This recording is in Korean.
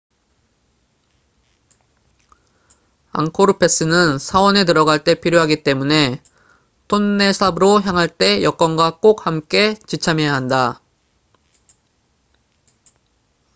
앙코르 패스는 사원에 들어갈 때 필요하기 때문에 톤레삽으로 향할 때 여권과 꼭 함께 지참해야 한다